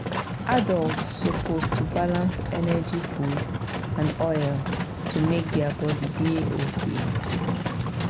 adults suppose to balance energy food and oil to make their body dey okay.